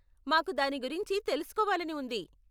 మాకు దాని గురించి తెలుసుకోవాలని ఉంది.